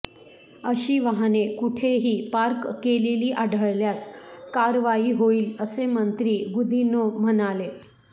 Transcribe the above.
अशी वाहने कुठेही पार्क केलेली आढळल्यास कारवाई होईल असे मंत्री गुदिन्हो म्हणाले